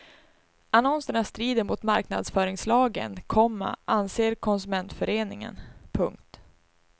Annonserna strider mot marknadsföringslagen, komma anser konsumentföreningen. punkt